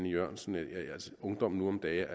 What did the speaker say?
jørgensen at ungdommen nu om dage